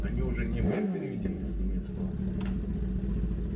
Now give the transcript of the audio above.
они уже не были переведены с немецкого